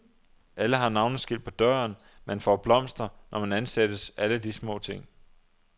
Alle har navneskilt på døren, man får blomster, når man ansættes, alle de små ting.